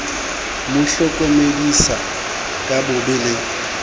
mo hlokomedisa ka bobe le